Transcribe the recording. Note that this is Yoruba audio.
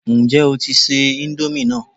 Ǹjẹ́ o tí ń se íńdómì náà?